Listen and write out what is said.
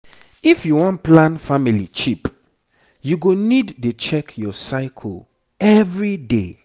if you wan plan family cheap you go need dey check your cycle every day